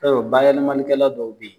I bi taa sɔrɔ bayɛlɛmanikɛlaw dɔw be yen